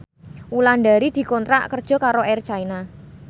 Wulandari dikontrak kerja karo Air China